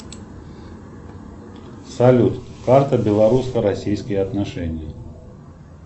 салют карта белорусско российские отношения